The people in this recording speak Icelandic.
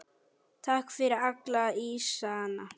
Takk fyrir alla ísana.